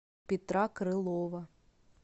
петра крылова